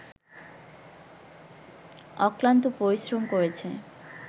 অক্লান্ত পরিশ্রম করেছে